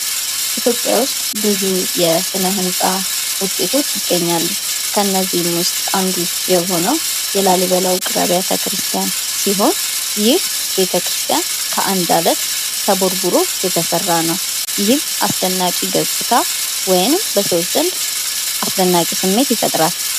ኢትዮጵያ ውስጥ ብዙ የስነ-ህንፃ ውጤቶች ይገኛሉ። ከነዚህም ውስጥ አንዱ የሆነው የላሊበላ ውቅር አብያተ ክርስቲያን ሲሆን ይህ ቤተ-ክርስትያን ከአንድ አለት ተቦርቡሮ የተሰራ ነው። ይህም አስደናቂ ገፅታ ወይም በሰዎች ዘንድ አስደናቂ ስሜት ይፈጥራል።